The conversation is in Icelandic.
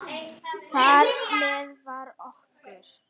Þar með var okkur